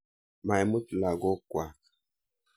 Maimut lagok kwak.